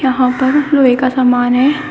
यहां पर लोहे का समान है।